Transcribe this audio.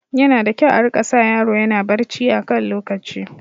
Yana da kyau a rika sa yaro yana barci a kan lokaci